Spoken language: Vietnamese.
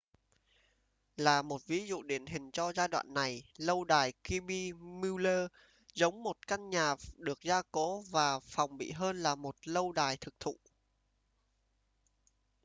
là một ví dụ điển hình cho giai đoạn này lâu đài kirby muxloe giống một căn nhà được gia cố và phòng bị hơn là một lâu đài thực thụ